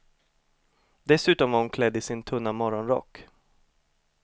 Dessutom var hon klädd i sin tunna morgonrock.